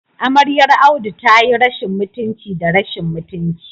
Amaryar Audu tayi rashin mutunci da rashin mutunci